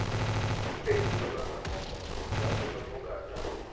E kit oganda moko, nyasi mag oganda,